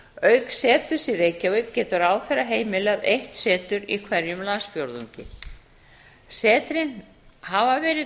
auk seturs í reykjavík getur ráðherra heimilað eitt setur í hverjum landsfjórðungi setrin hafa verið